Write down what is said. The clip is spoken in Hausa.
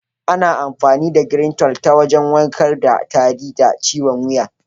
Ana amfani da "Greentol" ta wajen warkar da tari da ciwon wuya.